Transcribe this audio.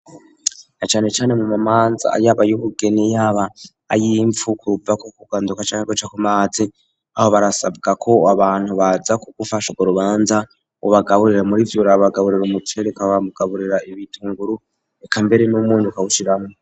Na ane cane mu mumanza yaba ayubugeni yaba ayimpfu kuva kuganduka canke kuca kumazi .Aho barasabwa ko abantu baza ku gufasha ko rubanza ubagaburire murivyo urabagaburira umuceri ukabagaburira ibitunguru ikambere n'umwunyu uka bushiramo.